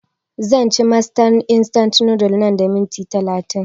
Zan ci masters instant noodles nan da minti talatin